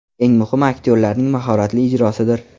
Eng muhimi – aktyorlarning mahoratli ijrosidir.